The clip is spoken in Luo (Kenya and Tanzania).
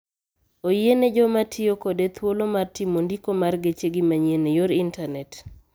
Oyiene joma tiyo kode thoulo mar timo ndiko mar gechegi manyien e yor intanet.